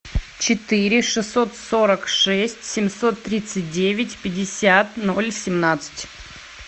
четыре шестьсот сорок шесть семьсот тридцать девять пятьдесят ноль семнадцать